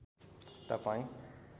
तपाईँ